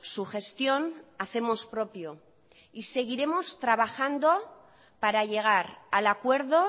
su gestión hacemos propio seguiremos trabajando para llegar al acuerdo